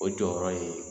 O jɔyɔrɔ ye